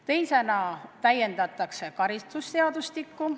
Teiseks täiendatakse karistusseadustikku.